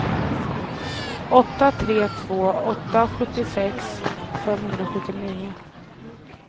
åtta tre två åtta sjuttiosex femhundrasjuttionio